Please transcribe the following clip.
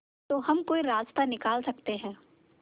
तो हम कोई रास्ता निकाल सकते है